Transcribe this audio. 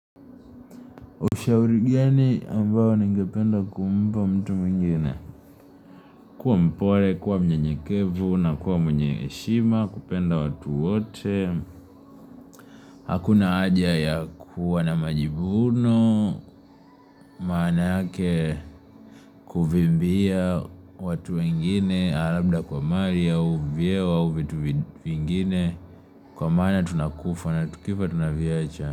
Ushauri gani ambayo nigependa kumpa mtu mwingine kuwa mpole, kuwa mnyenyekevu na kuwa mwenye heshima, kupenda watu wote Hakuna haja ya kuwa na majivuno, maana yake kuvimbia watu wengine labda kwa mali au vyeo au vitu vingine Kwa maana tunakufa na tukifa tunaviacha.